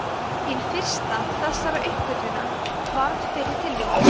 hin fyrsta þessara uppgötvana varð fyrir tilviljun